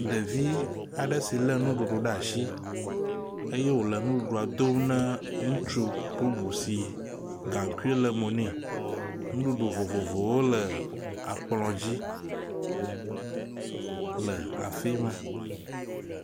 Ɖevi aɖe si lé ɖe asi eye wòle nuɖuɖua dom ne ŋutsu bubu si gaŋkui le mo ne. Nuɖuɖu vovovowo le akplɔ dzi le afi ma.